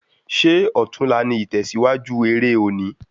Ṣé ọtún la ní itẹsiwaju eré òní